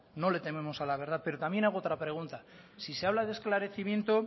no le tememos a la verdad pero también hago otra pregunta si se habla de esclarecimiento